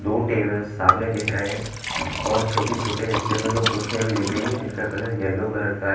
दो टेबल्स सामने दिख रहे हैं और छोटे-छोटे हिस्से में दो कुर्सियां भी दिख रही है जिनका कलर येलो कलर का--